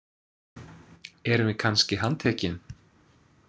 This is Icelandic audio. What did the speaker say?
Erum við kannski handtekin?